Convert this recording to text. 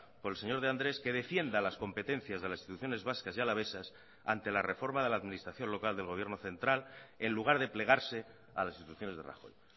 por el señor de andrés que defienda las competencias de las instituciones vascas y alavesas ante la reforma de la administración local del gobierno central en lugar de plegarse a las instituciones de rajoy